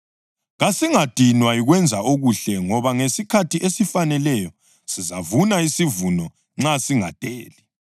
Kasingadinwa yikwenza okuhle ngoba ngesikhathi esifaneleyo sizavuna isivuno nxa singadeli.